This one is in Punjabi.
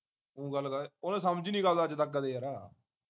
ਤੂੰ ਗੱਲ ਕਰ ਉਹਨੇ ਸਮਝੀ ਨੀ ਗੱਲ ਅੱਜ ਤੱਕ ਕਦੇ ਯਾਰਾ